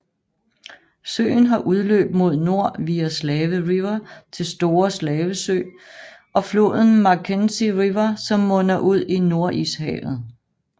Søen har udløb mod nord via Slave River til Store Slavesø og floden Mackenzie River som munder ud i Nordishavet